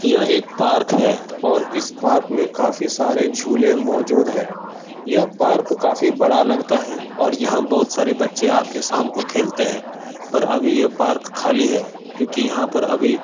यह एक पार्क है और इस पार्क में काफी सारे झूले मौजूद है यह पार्क काफी बड़ा लगता है और यहाँ बहुत सारे बच्चे शाम को आ के खेलते हैं पर अभी ये पार्क खली है क्योंकी यहाँ पर अभी --